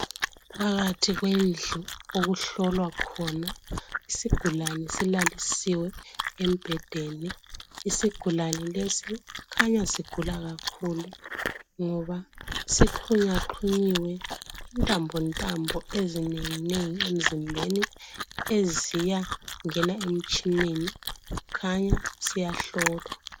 Phakathi kwendlu okuhlolwa khona. Isigulane silalisiwe embhedeni. lsigulane lesi, kukhanya sigula kakhulu! Ngoba sixhunyaxhunyiwe, intambontambo, ezinengi kakhulu, eziyangena emtshineni. Sikhanya siyahlolwa.